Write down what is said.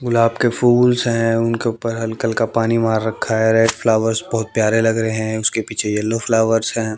गुलाब के फूल्स है उनके उपर हल्का हल्का पानी मार रखा है रेड फ्लॉवर्स बहोत प्यारे लग रहे है उसके पीछे येलो फ्लॉवर्स हैं।